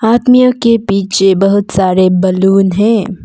आदमियों के पीछे बहुत सारे बलून है।